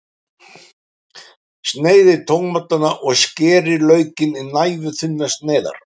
Sneiðið tómatana og skerið laukinn í næfurþunnar sneiðar.